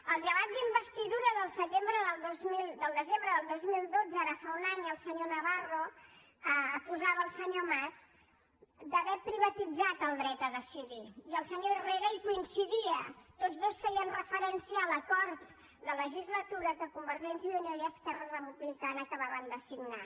al debat d’investidura del desembre del dos mil dotze ara fa un any el senyor navarro acusava el senyor mas d’haver privatitzat el dret a decidir i el senyor herrera hi coincidia tots dos feien referència a l’acord de legislatura que convergència i unió i esquerra republicana acabaven de signar